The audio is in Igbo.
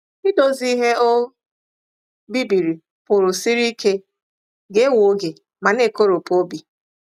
Idozi ihe o bibiri pụrụ siri ike, ga-ewe oge, ma na-ekoropụ obi.